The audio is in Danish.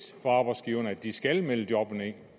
for arbejdsgiverne at de skal melde jobbene ind